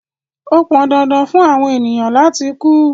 Ó pọn dandan fun awọn ènìyàn lati ku